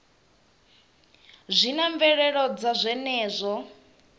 zwi na mvelelo dza zwenezwo